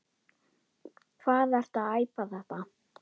Hvað ertu að æpa þetta.